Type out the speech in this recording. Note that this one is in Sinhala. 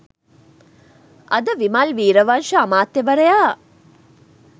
අද විමල් වීරවංශ අමාත්‍යවරයා